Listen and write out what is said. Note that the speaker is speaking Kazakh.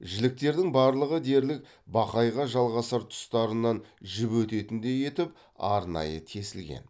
жіліктердің барлығы дерлік бақайға жалғасар тұстарынан жіп өтетіндей етіп арнайы тесілген